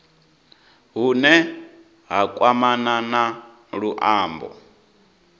hune ha kwamana na luambo